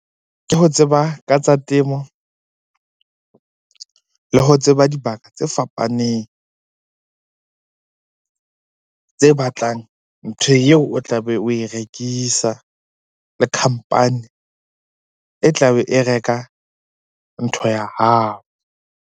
Ke ho tseba ka tsa temo le ho tseba dibaka tse fapaneng tse batlang ntho eo o tlabe oe rekisa. Le company e tla be e reka ntho ya hao.